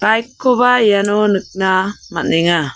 baik koba iano nikna man·enga.